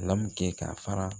k'a fara